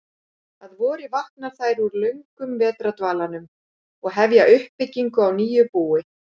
Að vori vakna þær úr löngum vetrardvalanum og hefja uppbyggingu á nýju búi.